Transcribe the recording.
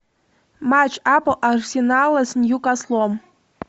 матч апл арсенала с ньюкаслом